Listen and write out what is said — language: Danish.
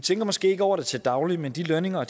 tænker måske ikke over det til daglig men de lønninger og